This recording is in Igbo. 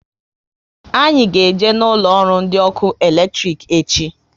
Anyị ga eje na ụlọ ọrụ ndị ọkụ eletrik echi